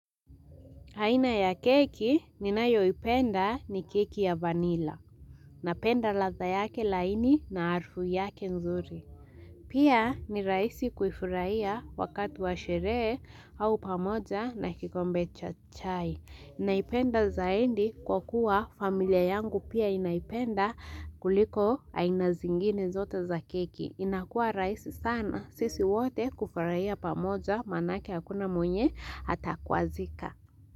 Aina ya keki ninayoipenda ni keki ya vanila. Napenda ladha yake laini na harufu yake nzuri. Pia ni rahisi kuifurahia wakati wa sherehe au pamoja na kikombe cha chai. Naipenda zaidi kwa kuwa familia yangu pia inaipenda kuliko aina zingine zote za keki. Inakua rahisi sana sisi wote kufurahia pamoja manake hakuna mwenye atakwazika.